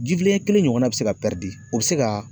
Ji filen ɲɛ kelen ɲɔgɔnna be se ka ,o be se ka